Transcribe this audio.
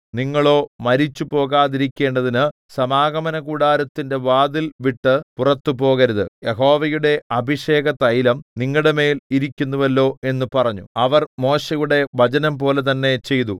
നിങ്ങളോ മരിച്ചു പോകാതിരിക്കേണ്ടതിനു സമാഗമനകൂടാരത്തിന്റെ വാതിൽ വിട്ടു പുറത്തു പോകരുത് യഹോവയുടെ അഭിഷേകതൈലം നിങ്ങളുടെമേൽ ഇരിക്കുന്നുവല്ലോ എന്നു പറഞ്ഞു അവർ മോശെയുടെ വചനംപോലെ തന്നെ ചെയ്തു